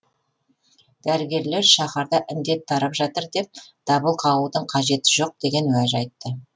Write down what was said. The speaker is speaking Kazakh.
дәрігерлер шаһарда індет тарап жатыр деп дабыл қағудың қажеті жоқ деген уәж айтты